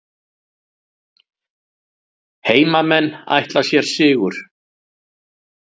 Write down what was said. Heimamenn ætla sér sigur